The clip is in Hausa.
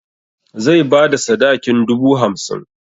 Zai bada sadakin dubu hamsin.